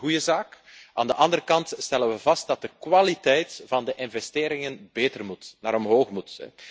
Dat is een goede zaak. Aan de andere kant stellen we vast dat de kwaliteit van de investeringen beter moet, omhoog moet.